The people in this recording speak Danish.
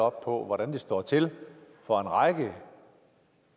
hvordan det står til for en række